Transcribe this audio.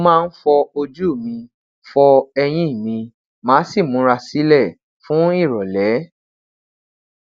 mo maa n fọ oju mi fọ eyin mi maa si mura silẹ fun irọle